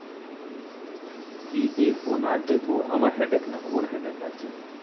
কি দেখবো না দেখবো আমার হেডেক না ওর হেডেক আছে,